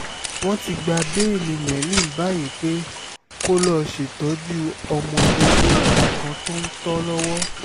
wọ́n ti gba bẹ́ẹ̀lì merlin báyìí pé kó lọ́ọ́ ṣètọ́jú ọmọ oṣù mẹ́ta kan tó ń tò lọ́wọ́